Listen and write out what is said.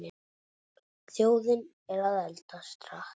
Þjóðin er að eldast hratt.